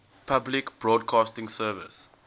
public broadcasting service